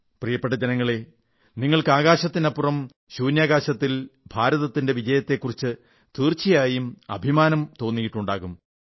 പ്രിയപ്പെട്ട ജനങ്ങളെ നിങ്ങൾക്ക് ആകാശത്തിനപ്പുറം ശൂന്യാകാശത്തിൽ ഭാരതത്തിന്റെ വിജയത്തെക്കുറിച്ച് തീർച്ചയായും അഭിമാനം ഉണ്ടായിട്ടുണ്ടാകൂം